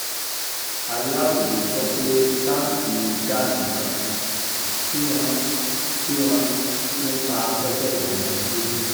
aláròye gbọ́ pé táǹkì gáàsì kan tí wọ́n tí wọ́n fi ń ta afẹ́fẹ́ ìdáná ló bù